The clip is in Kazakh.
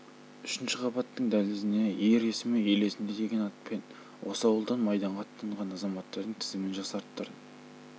үшінші қабаттың дәлізіне ер есімі ел есінде деген атпен осы ауылдан майданға аттанған азаматтардың тізімін жасаттырдым